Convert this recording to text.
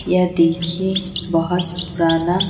यह देखिए बहुत पुराना--